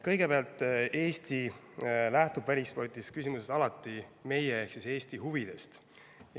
Kõigepealt: Eesti lähtub välispoliitilises küsimuses alati meie ehk Eesti huvidest.